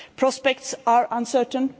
Prospects are uncertain.